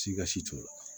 Sika si t'o la